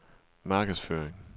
markedsføring